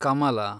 ಕಮಲ